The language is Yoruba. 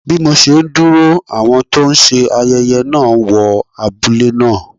Bí mo ṣe ń dúró, àwọn tó ń ṣe ayẹyẹ náà wọ abúlé náà.